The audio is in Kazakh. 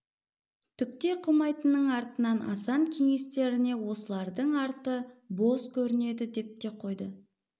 түк те қылмайдының артынан асан кеңестеріне осылардың арты бос көрінеді деп те қойды